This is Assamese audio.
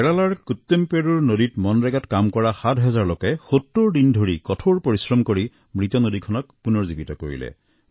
কেৰেলাৰ কুট্টুমপেৰুৰ নদীত মনৰেগাৰ কাম কৰা ৭ হাজাৰ লোকে ৭০ দিন ধৰি কঠোৰ পৰিশ্ৰম কৰি মৃত নদীখনক পুনৰুজ্জীৱিত কৰিলে